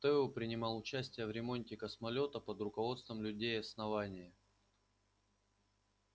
тео принимал участие в ремонте космолёта под руководством людей основания